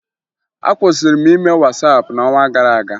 Akwụsịrị m ime Wasaapụ n'ọnwa gara aga